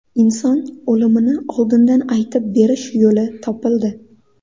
Inson o‘limini oldindan aytib berish yo‘li topildi.